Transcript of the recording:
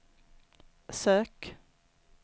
sök